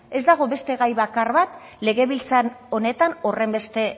ez dago beste gai bakar bat legebiltzar honetan horrenbeste